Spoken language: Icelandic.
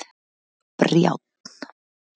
Brjánn